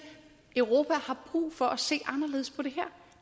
europa har brug for at se anderledes på det her